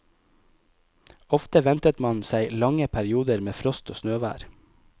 Ofte ventet man seg lange perioder med frost og snøvær.